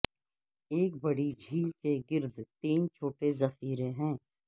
ایک بڑی جھیل کے گرد تین چھوٹے ذخیرے ہیں